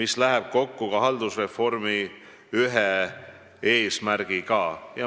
See läheb kokku ka haldusreformi ühe eesmärgiga.